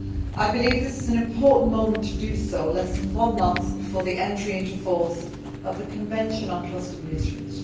I believe this is an important moment to do so, less than one month before the entry into force of the Convention on Cluster Munitions.